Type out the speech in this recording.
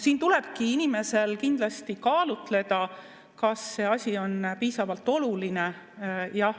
Siin tulebki inimesel kindlasti kaalutleda, kas see asi on piisavalt oluline.